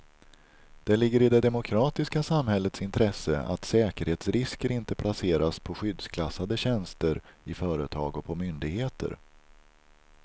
Det ligger i det demokratiska samhällets intresse att säkerhetsrisker inte placeras på skyddsklassade tjänster i företag och på myndigheter.